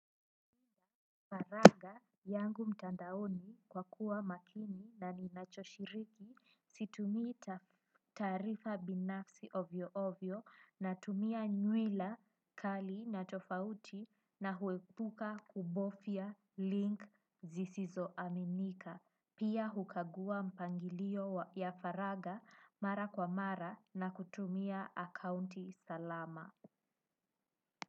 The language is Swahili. Faraga yangu mtandaoni kwa kuwa makini na ninachoshiriki situmii taarifa binafsi ovyoovyo natumia nywila kali na tofauti na huepuka kubofya link zisizoaminika. Pia hukagua mpangilio ya faraga mara kwa mara na kutumia akaunti salama.